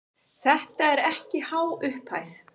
Þetta er ekki há upphæð.